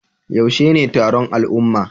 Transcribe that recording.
Yaushe ne taron al'umma?